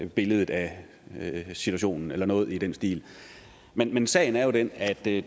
billedet af situationen eller noget i den stil men men sagen er jo den at det